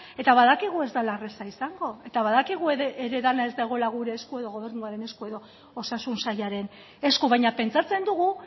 eta badakigu ez dela erraza izango eta badakigu ere dena ez dagoela gure esku edo gobernuaren esku edo osasun sailaren esku baina pentsatzen dugu